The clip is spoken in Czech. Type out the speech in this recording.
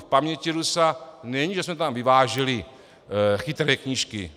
V paměti Rusa není, že jsme tam vyváželi chytré knížky.